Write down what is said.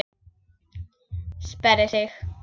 Sperrir sig.